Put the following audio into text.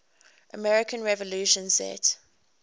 american revolution set